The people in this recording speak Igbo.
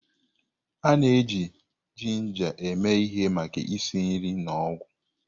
A na-eji jinja eme ihe maka isi nri na ọgwụ.